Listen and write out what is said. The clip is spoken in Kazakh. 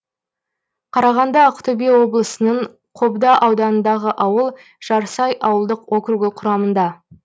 қарағанды ақтөбе облысының қобда ауданындағы ауыл жарсай ауылдық округі құрамында